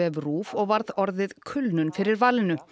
RÚV og varð orðið kulnun fyrir valinu